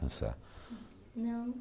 Não, não